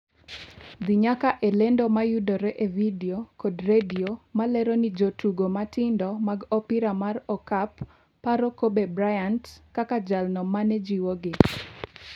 dhi nyaka e lendo mayudore e vidio kod redie ma lero ni Jotugo matindo mag opira mar okap paro Kobe Bryant kaka jalno mane jiwogi